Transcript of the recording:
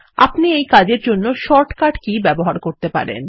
আপনি এই কাজের জন্য শর্ট কাট কী ব্যবহার করতে পারেন